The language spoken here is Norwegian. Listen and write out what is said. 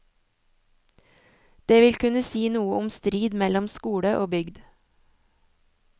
Det vil kunne si noe om strid mellom skole og bygd.